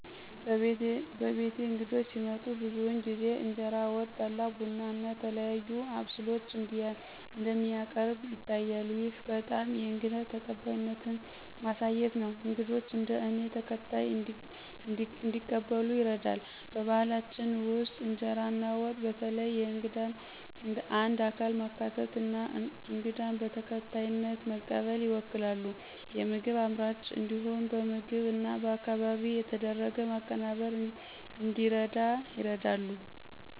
በቤትዬ እንግዶች ሲመጡ ብዙውን ጊዜ እንጀራ፣ ወጥ፣ ጠላ፣ ቡና እና ተለያዩ አብስሎች እንደሚያቀርብ ይታያል። ይህ በጣም የእንግዳ ተቀባይነትን ማሳየት ነው፤ እንግዶች እንደ እኔ ተከታይ እንዲቀበሉ ይረዳል። በባህላችን ውስጥ ኢንጀራ እና ወጥ በተለይ የእንግዳን እንደ አካል ማካተት እና እንግዳን በተከታይነት መቀበል ይወክላሉ። የምግብ አምራቾች እንዲሁም በምግብ እና በአካባቢ የተደረገ ማቀናበር እንዲረዳ ይረዳሉ።